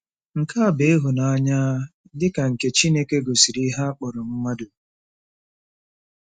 Nke a bụ ịhụnanya dị ka nke Chineke gosiri ihe a kpọrọ mmadụ.